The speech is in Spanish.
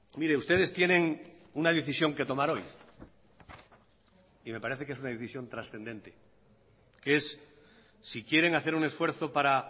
mire ustedes tienen una decisión que tomar hoy y me parece que es una decisión trascendente que es si quieren hacer un esfuerzo para